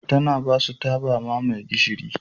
Tana ba su taba mamaye gishiri.